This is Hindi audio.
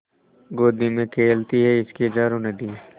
गोदी में खेलती हैं इसकी हज़ारों नदियाँ